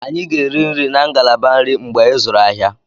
Anyị ga-eri nri na ngalaba nri mgbe ịzụrụ ahịa.